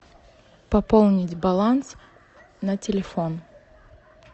пополнить баланс на телефон